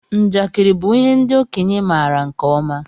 Njakiri bụ ihe ndị okenye maara nke ọma.